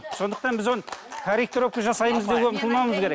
сондықтан біз оны корректировка жасаймыз деп ұмтылмауымыз керек